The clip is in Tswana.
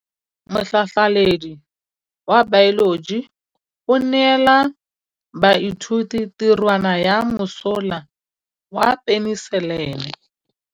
Motlhatlhaledi wa baeloji o neela baithuti tirwana ya mosola wa peniselene.